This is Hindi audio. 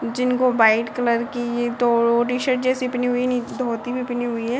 जिनको वाइट कलर की दो टी-शर्ट जैसी पहनी हुई है नीचे धोती भी पहनी हुई है ।